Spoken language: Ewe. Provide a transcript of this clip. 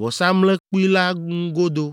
vɔsamlekpui la ŋu godoo.